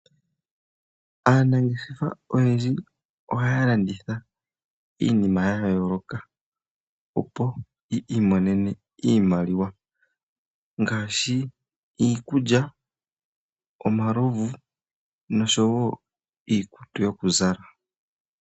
Aanangeshefa oyendji ohaya landitha iinima ya yooloka opo yi imonene iimaliwa ngaashi iikulya, omalovu niikutu yokuzala.